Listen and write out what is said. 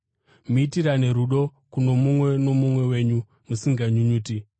Muitirane rudo kuno mumwe nomumwe wenyu musinganyunyuti.